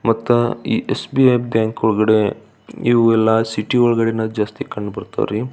ಮತ್ತ ಈ ಎಸ್.ಬಿ.ಐ ಬ್ಯಾಂಕಿನ ಒಳಗಡೆ ಇವೆಲ್ಲಾ ಸಿಟಿ ಒಳಗಡೆ ಜಾಸ್ತಿ ಕಣ್ಣ್ ಬರತ್ತವರಿ.